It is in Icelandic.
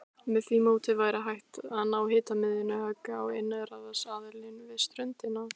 Með því móti væri hægt að ná hnitmiðuðu höggi á innrásarliðið við ströndina.